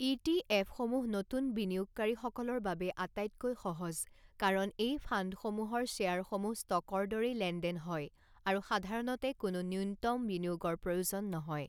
ই T এফসমূহ নতুন বিনিয়োগকাৰীসকলৰ বাবে আটাইতকৈ সহজ কাৰণ এই ফাণ্ডসমূহৰ শ্বেয়াৰসমূহ ষ্টকৰ দৰেই লেনদেন হয় আৰু সাধাৰণতে কোনো নূন্যতম বিনিয়োগৰ প্ৰয়োজন নহয়।